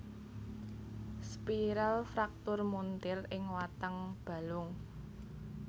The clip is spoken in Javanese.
Spiral fraktur muntir ing watang balung